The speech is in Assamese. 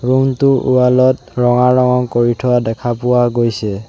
ৰুমটোৰ ৱালত ৰঙা ৰং কৰি থোৱা দেখা পোৱা গৈছে।